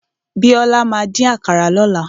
Bíọ́lá máa dín àkàrà lọ́la.